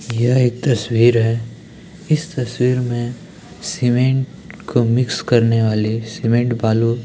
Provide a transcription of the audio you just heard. यहां एक तस्वीर है इस तस्वीर में सीमेंट को मिक्स करने वाली सीमेंट बालू --